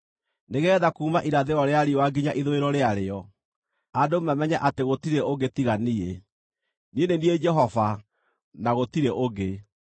nĩgeetha kuuma irathĩro rĩa riũa nginya ithũĩro rĩarĩo, andũ mamenye atĩ gũtirĩ ũngĩ tiga niĩ. Niĩ nĩ niĩ Jehova, na gũtirĩ ũngĩ.